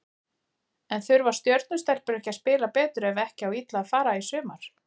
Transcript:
En þurfa Stjörnu stelpur ekki að spila betur ef ekki á illa fara í sumar?